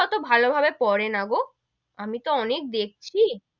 অতো ভালো ভাবে পরে না গো, আমি তো অনেক দেখছি,